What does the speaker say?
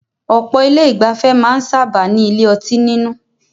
Ọ̀pọ̀ ilé ìgbafẹ́ máà ń sábáà ní ilé ọtí nínú.